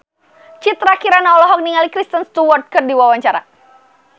Citra Kirana olohok ningali Kristen Stewart keur diwawancara